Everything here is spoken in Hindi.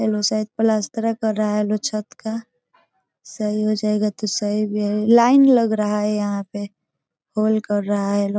ये लोग शायद प्लास्तरा कर रहा है इ लोग छत का सही हो जायेगा तो सही भी है लाइन लग रहा है यहाँ पे होल कर रहा है इ लोग।